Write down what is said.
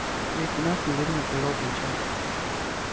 лейтенант неуверенно пожал плечами